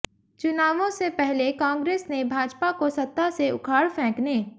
चुनावों से पहले कांग्रेस ने भाजपा को सत्ता से उखाड़ फेंकने